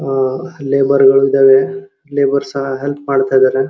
ಅಹ್ labour ಎರಡ್ ಇದಾವೆ labour ಸಹ ಹೆಲ್ಪ್ ಮಾಡತ್ತಾ ಇದಾರೆ.